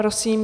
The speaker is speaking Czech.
Prosím.